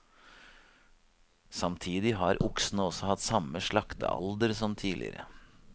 Samtidig har oksene også hatt samme slaktealder som tidligere.